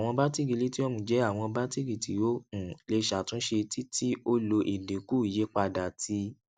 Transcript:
awọn batiri lithium jẹ awọn batiri ti o um le ṣatunṣe ti ti o lo idinku iyipada ti